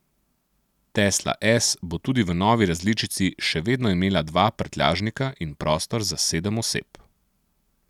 Tesla S bo tudi v novi različici še vedno imela dva prtljažnika in prostor za sedem oseb.